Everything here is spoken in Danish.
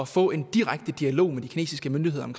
få en direkte dialog med de kinesiske myndigheder om